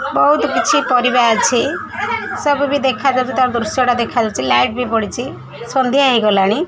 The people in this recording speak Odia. ବହୁତ କିଛି ପରିବା ଅଛି ସବୁ ବି ଦେଖାଯାଉଚି ତାର ଦୃଶ୍ୟ ଟା ଦେଖାଯାଉଚି ଲାଇଟ ବି ପଡ଼ିଛି ସନ୍ଧ୍ୟା ହେଇଗଲାଣି।